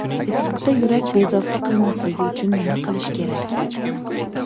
Issiqda yurak bezovta qilmasligi uchun nima qilish kerak?